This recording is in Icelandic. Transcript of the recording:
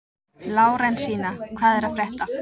Lárensína, hvað er að frétta?